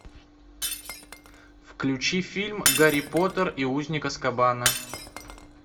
включи фильм гарри поттер и узник азкабана